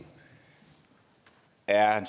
er